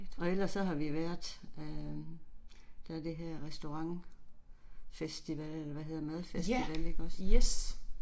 Og ellers så har vi været øh, der er det her restaurantfestival eller hvad hedder madfestival ikke også